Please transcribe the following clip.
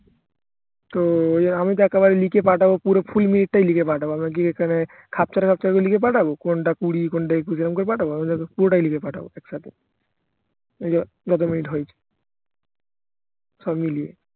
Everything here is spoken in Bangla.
তো ঐযে আমি তো একেবারে লিখে পাঠাবো পুরো ফুল মিনিটটাই লিখে পাঠাবো আমি কি এখানে খাপছাড়া খাপছাড়া করে লিখে পাঠাবো কোনটা কুড়ি কোনটা একুশ এরম করে পাঠাবো আমি তো পুরোটাই লিখে পাঠাবো একসাথে জোতমিনিট হয়েছে সব মিলিয়ে